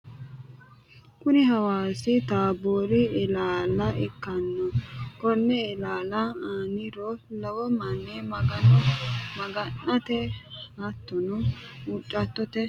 Kuni hawassi taabori illalla ikkanno, koni illalli aanira lowo mani magano maga'nate hattono huucirate yana baala fullano kuni ilaalli aana la'neemo manchino guluphe magano huuciranni no